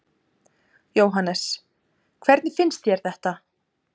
Jóhannes: Hvernig finnst þér þetta?